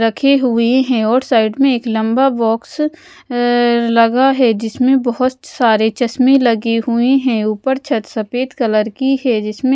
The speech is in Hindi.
रखे हुए हैं और साइड में एक लंबा बॉक्स अह लगा है जिसमें बहुत सारे चश्मे लगे हुए हैं ऊपर छत सफेद कलर की है जिसमें--